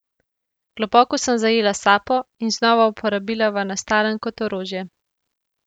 Globoko sem zajela sapo in znova uporabila vanastalem kot orožje.